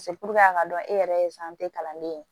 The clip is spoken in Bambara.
a k'a dɔn e yɛrɛ ye kalanden ye